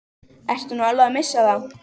Ertu nú alveg að missa það?